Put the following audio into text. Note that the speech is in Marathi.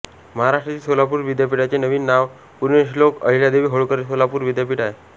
महाराष्ट्रातील सोलापूर विद्यापीठाचे नवीन नाव पुण्यश्लोक अहिल्यादेवी होळकर सोलापूर विद्यापीठ आहे